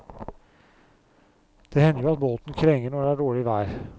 Det hender jo at båten krenger når det er dårlig vær.